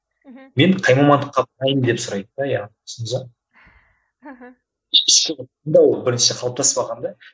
мхм мен қай мамандыққа деп сұрайды да яғни түсіндіңіз бе мхм бірінші қалыптаспаған да